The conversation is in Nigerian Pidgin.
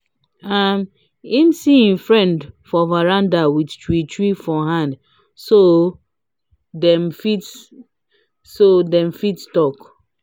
um him see him friend for veranda with chew chew for hand so dem fit so dem fit talk